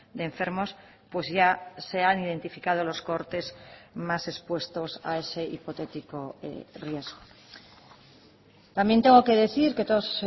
de enfermos pues ya se han identificado los cohortes más expuestos a ese hipotético riesgo también tengo que decir que todos